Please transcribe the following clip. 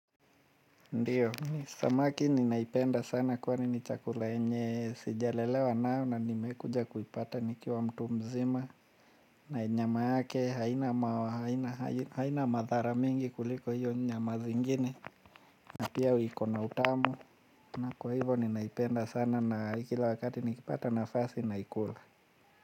Ndiyo samaki ninaipenda sana kwani ni chakula yenye sijalelewa nayo na nimekuja kuipata nikiwa mtu mzima na nyama yake haina haina haina madhara mingi kuliko hiyo nyama zingine. Na pia iko na utamu na kwa hivyo ninaipenda sana na kila wakati nikipata nafasi naikula.